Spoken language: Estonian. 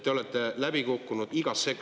Te olete läbi kukkunud igas sektoris …